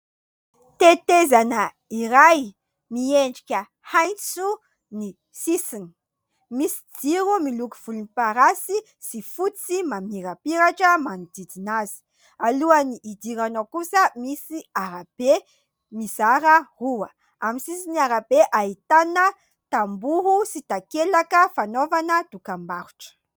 Tetezana iray miendrika "H" ny sisiny, misy jiro miloko volomparasy sy fotsy mamirapiratra manodidina azy. Alohan'ny hidirana ao kosa misy arabe mizara roa. Amin'ny sisin'ny arabe ahitana tamboho sy takelaka fanaovana dokambarotra.